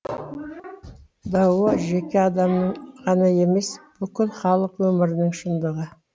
дао жеке адамның ғана емес бүкіл халық өмірінің шындығы